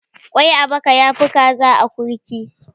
Ƙwai a baka ya fi kaza a akurki